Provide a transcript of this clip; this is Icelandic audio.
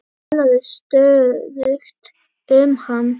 Ég talaði stöðugt um hann.